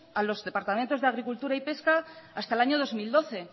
a los departamentos de agricultura y pesca hasta el año dos mil doce